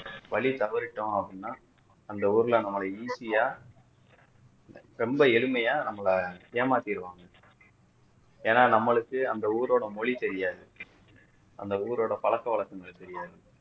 வழி தவறிட்டோம் அப்படின்னா அந்த ஊர்ல நம்மள easy ஆ ரொம்ப எளிமையா நம்மள ஏமாத்திருவாங்க ஏன்னா நம்மளுக்கு அந்த ஊரோட மொழி தெரியாது அந்த ஊரோட பழக்கவழக்கங்கள் தெரியாது